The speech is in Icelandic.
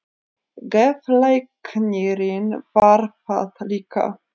Geðlæknirinn varð það líka.